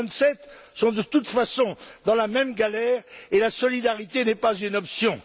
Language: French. Les Vingt Sept sont de toute façon dans la même galère, et la solidarité n'est pas une option.